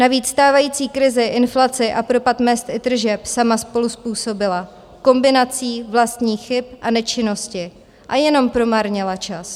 Navíc stávající krizi, inflaci a propad mezd i tržeb sama spoluzpůsobila kombinací vlastních chyb a nečinnosti a jenom promarnila čas.